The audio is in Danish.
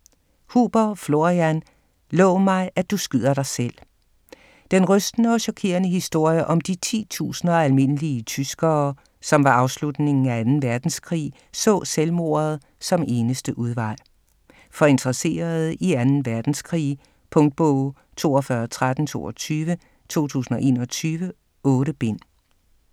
Huber, Florian: Lov mig, at du skyder dig selv Den rystende og chokerende historie om de titusinder af almindelige tyskere, som ved afslutningen af 2. verdenskrig så selvmordet som eneste udvej. For interesserede i 2. verdenskrig. Punktbog 421322 2021. 8 bind.